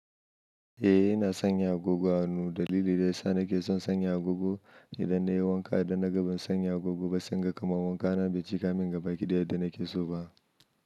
Eh ina sanya agogo a hannu dalili dayasa nake son sanya agogo, idan nayi wanka idan naga ban sanya agogo ba sai inga kamar wankana bai cikamin gabaki daya yadda nake soba.